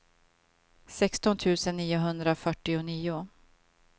sexton tusen niohundrafyrtionio